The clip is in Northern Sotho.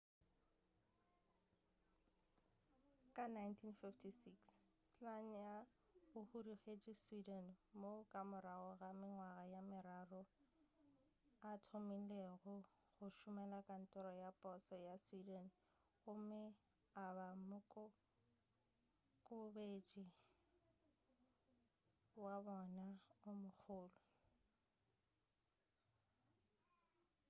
ka 1956 słania o hudugetše sweden moo ka morago ga mengwaga ye meraro a thomilego go šomela kantoro ya poso ya sweden gomme a ba mokokobetše wa bona o mogolo